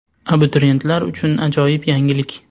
Abituriyentlar uchun ajoyib yangilik!